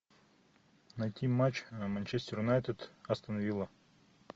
найти матч манчестер юнайтед астон вилла